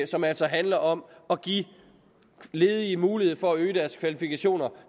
som altså handler om at give ledige mulighed for at øge deres kvalifikationer